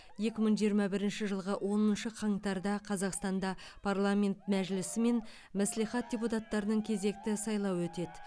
екі мың жиырма бірінші жылғы оныншы қаңтарда қазақстанда парламент мәжілісі мен мәслихат депутаттарының кезекті сайлауы өтеді